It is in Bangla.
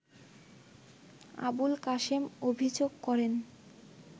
আবুল কাশেম অভিযোগ করেন